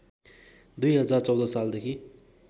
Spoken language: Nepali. २०१४ सालदेखि